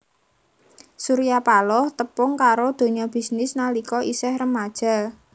Surya Paloh tepung karo donya bisnis nalika isih remaja